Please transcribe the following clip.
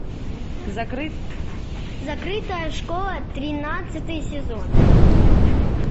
закрытая школа тринадцатый сезон